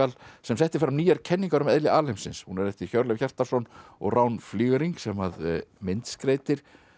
sem setti fram nýjar kenningar um eðli alheimsins hún er eftir Hjörleif Hjartarson og Rán Flygenring sem að myndskreytir